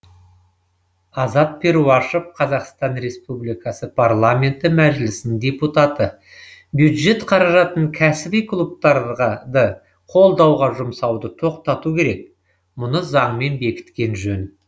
азат перуашев қазақстан республикасы парламенті мәжілісінің депутаты бюджет қаражатын кәсіби клубтарғы қолдауға жұмсауды тоқтату керек мұны заңмен бекіткен жөн